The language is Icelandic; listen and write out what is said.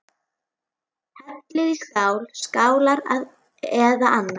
Hellið í skál, skálar eða annað.